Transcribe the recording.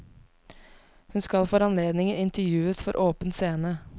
Hun skal for anledningen intervjues for åpen scene.